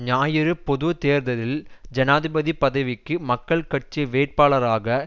ஞாயிறு பொது தேர்தலில் ஜனாதிபதி பதவிக்கு மக்கள் கட்சி வேட்பாளராக